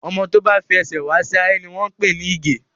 Ọmọ tó bá fi ẹsẹ̀ wá sí ayé ni wọ́n pè ní ìgè